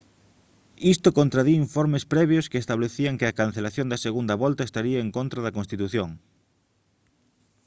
isto contradí informes previos que establecían que a cancelación da segunda volta estaría en contra da constitución